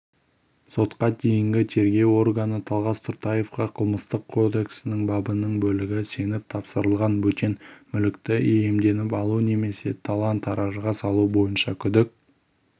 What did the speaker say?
сотқа дейінгі тергеу органы талғас тұртаевқа қылмыстық кодексінің бабының бөлігі сеніп тапсырылған бөтен мүлікті иемденіп алу немесе талан-таражға салу бойынша күдік